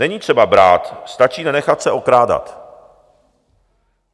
Není třeba brát, stačí nenechat se okrádat.